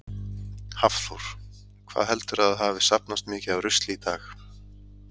Hafþór: Hvað heldurðu að hafi safnast mikið af rusli í dag?